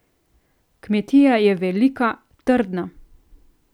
Kmetija je velika, trdna.